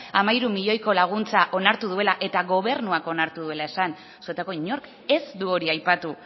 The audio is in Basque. onartu duela eta gobernuak onartu duela esan zuetako inork ez du hori aipatu